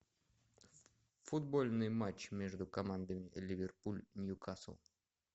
футбольный матч между командами ливерпуль ньюкасл